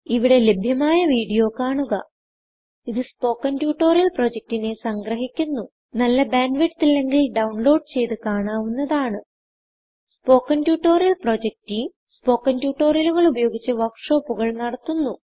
ഇവിടെ ലഭ്യമായ വീഡിയോ കാണുക ഇതു സ്പോകെൻ ട്യൂട്ടോറിയൽ പ്രൊജക്റ്റിനെ സംഗ്രഹിക്കുന്നു നല്ല ബാൻഡ് വിഡ്ത്ത് ഇല്ലെങ്കിൽ ഡൌൺലോഡ് ചെയ്ത് കാണാവുന്നതാണ് spoken tutorial project team spoken ട്യൂട്ടോറിയലുകൾ ഉപയോഗിച്ച് വർക്ക് ഷോപ്പുകൾ നടത്തുന്നു